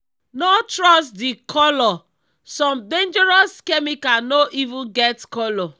no trust the colour—some dangerous chemical no even get colour.